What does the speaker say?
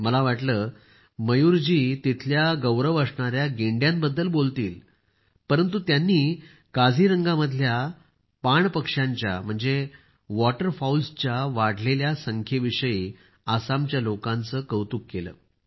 मला वाटले मयूरजी तिथले गौरव असणाऱ्या गेंड्या रिनोस बद्दल बोलतील परंतु त्यांनी काझीरंगामधल्या पाण पक्षांच्या वॉटरफॉउल्स वाढलेल्या आकड्यासाठी त्यांनी आसामच्या लोकांचे कौतुक केले